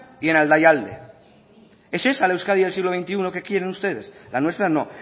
y en aldaialde ese es al euskadi del siglo veintiuno que quieren ustedes la nuestra no